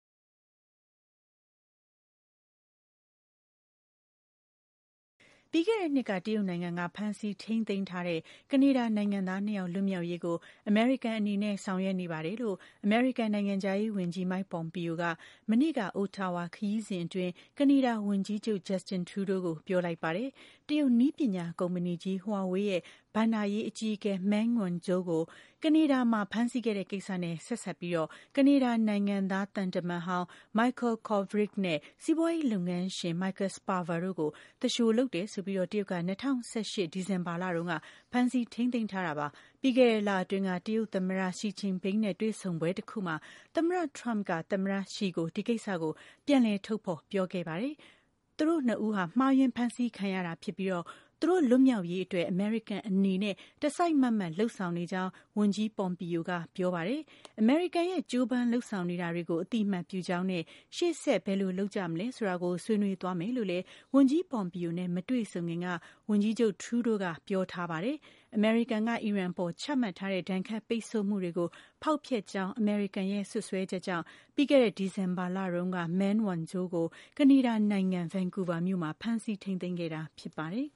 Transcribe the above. ပြီးခဲ့တဲ့ နှစ်က တရုတ်နိုင်ငံက ဖမ်းဆီးထိန်းသိမ်းထားတဲ့ ကနေဒါနိုင်ငံသား နှစ်ယောက် လွတ်မြောက်ရေးကို အမေရိကန်အနေနဲ့ ဆောင်ရွက်နေပါတယ်လို့ အမေရိကန်နိုင်ငံခြားရေး ဝန်ကြီး Mike Pompeo က မနေ့က Ottawa ခရီးစဉ်အတွင်း ကနေဒါဝန်ကြီးချုပ် Justin Trudeau ကို ပြောလိုက်ပါတယ်။ တရုတ် နည်းပညာ ကုမ္မဏီကြီး Huawei ဘဏ္ဍာရေး အကြီးအကဲ Meng Wanzhou ကို ကနေဒါမှာ ဖမ်းဆီးခဲ့တဲ့ ကိစ္စနဲ့ ဆက်စပ်ပြီး ကနေဒါနိုင်ငံသား သံတမန်ဟောင်း Michael Kovrig နဲ့ စီးပွားရေး လုပ်ငန်းရှင် Michael Spavor တို့ကို သူလျှို လုပ်တယ်ဆိုပြီး တရုတ်က ၂၀၁၈ ဒီဇင်ဘာလတုန်းက ဖမ်းဆီးထိန်းသိမ်းထားတာပါ။ ပြီးခဲ့တဲ့ လအတွင်းက တရုတ်သမ္မတ Xi Jinping နဲ့ တွေ့ဆုံပွဲတခုမှာ သမ္မတ Trump က သမ္မတ Xi ကို ဒီကိစ္စကို ပြန်လည် ထုတ်ဖော်ပြောခဲ့ပါတယ်။ သူတိုကနှစ်ဦးဟာ မှားယွင်းဖမ်းဆီးခံရတာ ဖြစ်ပြီး သူတို့ လွတ်မြောက်ရေး အတွက်အမေရိကန်အနေနဲ့ တစိုက်မတ်မတ် လုပ်ဆောင်နေကြောင်း ဝန်ကြီး Pompeo ကပြောပါတယ်။ အမေရိကန်ရဲ့ ကြိုးပမ်းလုပ်ဆောင်နေတာတွေကို အသိအမှတ်ပြုကြောင်းနဲ့ ရှေ့ဆက် ဘယ်လိုလုပ်ကြ မလဲဆိုတာကို ဆွေးနွေးသွားမယ်လို့ လည်း ဝန်ကြီး Pompeo နဲ့ မတွေဆုံခင်က ဝန်ကြီးချုပ် Trudeau က ပြောထားတာပါ။ အမေရိကန်က အီရန်အပေါ် ချမှတ်ထားတဲ့ ဒဏ်ခတ်ပိတ်ဆို့မှုတွေကို ဖောက်ဖျက်ကြောင်း အမေရိကန်ရဲ့ စွပ်စွဲချက်ကြောင့် ပြီးခဲ့တဲ့ ဒီဇင်ဘာလတုန်းက Meng Wanzhou ကို ကနေဒါနိုင်ငံ Vancouver မြို့မှာ ဖမ်းဆီးထိန်းသိမ်းခဲ့တာဖြစ်ပါတယ်